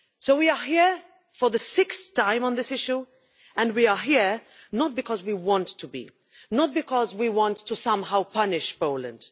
We are here for the sixth time on this issue and we are here not because we want to be or because we want to somehow punish Poland.